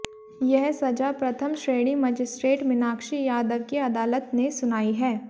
यह सजा प्रथम श्रेणी मजिस्ट्रेट मीनाक्षी यादव की अदालत ने सुनाई है